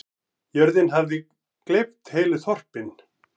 Jörðin hafi gleypt heilu þorpin.